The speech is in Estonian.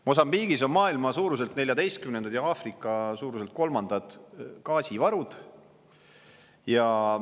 Mosambiigis on maailma suuruselt 14-ndad ja Aafrika suuruselt kolmandad gaasivarud.